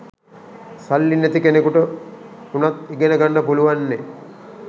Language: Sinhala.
සල්ලි නැති කෙනෙකුට උනත් ඉගෙනගන්න පුලුවන්නෙ